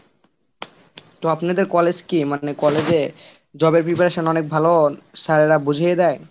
তো আপনাদের college কি? মানে college এ job এর preparation অনেক ভালো sir এরা বুঝিয়ে দেয়?